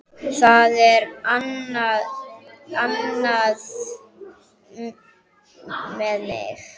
Það er annað með mig.